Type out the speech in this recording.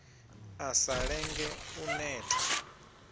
a sa lenge u neta